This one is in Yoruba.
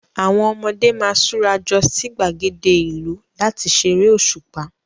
Àwọn ọmọdé máa ṣurajọ sí gbàgéde ìlú láti ṣeré òṣùpá.